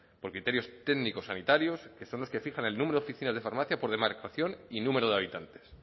por criterios técnicos sanitarios que son los que fijan el número de oficinas de farmacia por demarcación y número de habitantes